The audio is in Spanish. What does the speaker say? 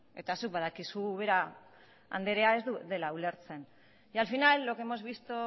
eta zuk badakizu ubera andrea ez dela ulertzen y al final lo que hemos visto